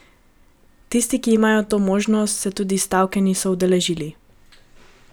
Tisti, ki imajo to možnost, se tudi stavke niso udeležili.